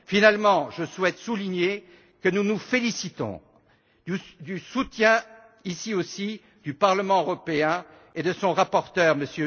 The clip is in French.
Enfin, je souhaite souligner que nous nous félicitons du soutien, ici aussi, du Parlement européen et de son rapporteur, M.